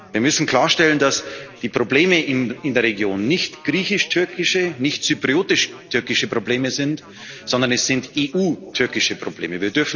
Wir müssen klarstellen, dass die Probleme in der Region nicht griechisch türkische, nicht zyprisch türkische Probleme sind, sondern es sind EU türkische Probleme.